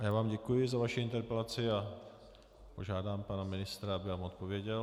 A já vám děkuji za vaši interpelaci a požádám pana ministra, aby vám odpověděl.